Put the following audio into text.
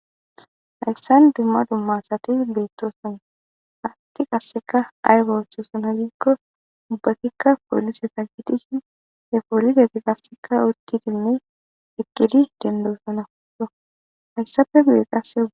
Hayssan dumma dummasati beettoosona hatti qasseka aywa wessoosana gikko dubbatikka poolise ta kidishin he poolideti qasseka utti dimme ekkidi dendoosona odo hayssappe gude qasse oga.